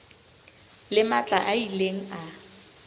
le matla a ileng a